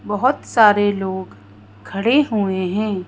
बहुत सारे लोग खड़े हुए हैं।